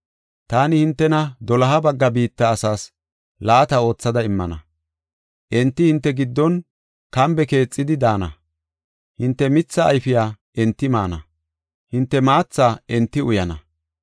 Taani hintena doloha bagga biitta asaas laata oothada immana. Enti hinte giddon kambe keexidi daana. Hinte mithaa ayfiya enti maana; hinte maatha enti uyana.